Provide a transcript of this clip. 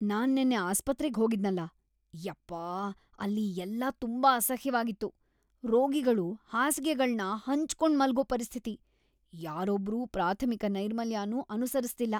ನಾನ್ ನೆನ್ನೆ ಆಸ್ಪತ್ರೆಗ್ ಹೋಗಿದ್ನಲ.. ಯಪ್ಪ.. ಅಲ್ಲಿ ಎಲ್ಲಾ ತುಂಬಾ ಅಸಹ್ಯವಾಗಿತ್ತು. ರೋಗಿಗಳು ಹಾಸಿಗೆಗಳ್ನ ಹಂಚ್ಕೊಂಡ್‌ ಮಲ್ಗೋ ಪರಿಸ್ಥಿತಿ.. ಯಾರೊಬ್ರೂ ಪ್ರಾಥಮಿಕ ನೈರ್ಮಲ್ಯನೂ ಅನುಸರಿಸ್ತಿಲ್ಲ.